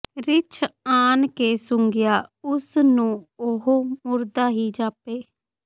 ਰਿੱਛ ਆਣ ਕੇ ਸੁੰਘਿਆ ਉਸ ਨੂੰ ਉਹ ਮੁਰਦਾ ਹੀ ਜਾਪੇ